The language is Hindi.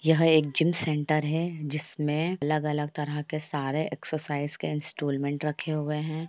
यह एक जिम सेंटर हैजिस में अलग-अलग तरह के सारे एक्ससाइज के स्टूलमेंट रखे हुए है।